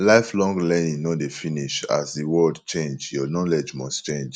lifelong learning no dey finish as the world change your knowledge must change